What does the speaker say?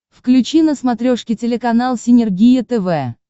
включи на смотрешке телеканал синергия тв